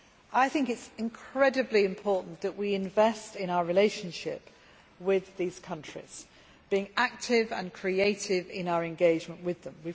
It is incredibly important that we invest in our relationship with these countries and be active and creative in our engagement with them.